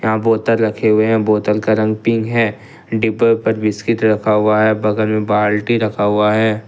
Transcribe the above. यहाँ बोतल रखे हुई है बोतल का रंग पिंक है डिब्बा पर बिस्किट रखा हुआ है बगल में बाल्टी रखा हुआ है।